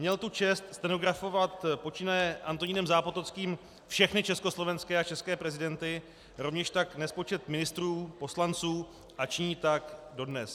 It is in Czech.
Měl tu čest stenografovat počínaje Antonínem Zápotockým všechny československé a české prezidenty, rovněž tak nespočet ministrů, poslanců a činí tak dodnes.